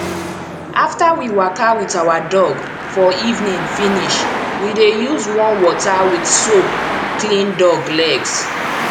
after we waka with our dog for evening finish we dey use warm water with soap clean dog legs